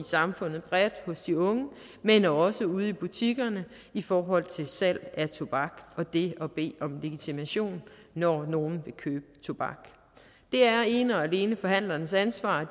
samfundet bredt hos de unge men også ude i butikkerne i forhold til salg af tobak og det at bede om legitimation når nogle vil købe tobak det er ene og alene forhandlernes ansvar at